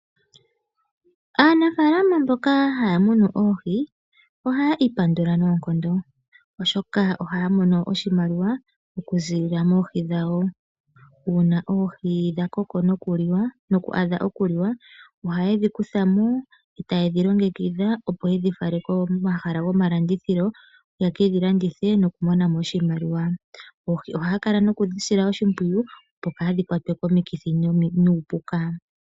Aanafaalama mboka ha ya munu oohi, ohaya ipandula noonkondo, oshoka ohaya mono oshimaliwa okuziilila moohi dhawo. Uuna oohi dha koko noku adha okuliwa ohaye dhi kutha mo, e ta ye dhi longekidha opo ye dhi fale komahala gomalandithilo ye ke dhi landithe nokumona mo oshimaliwa. Oohi ohaya kala nokudhi sila oshimpwiyu opo kaadhi kwatwe komikithi nuupuka.